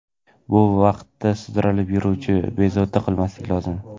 Bu vaqtda sudralib yuruvchini bezovta qilmaslik lozim.